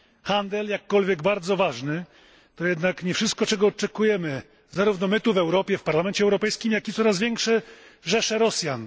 Handel jakkolwiek bardzo ważny to jednak nie wszystko, czego oczekujemy, zarówno my tutaj w Europie, w Parlamencie Europejskim, jak i coraz większe rzesze Rosjan.